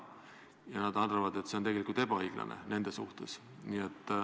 Ja nad arvad, et see on nende suhtes tegelikult ebaõiglane.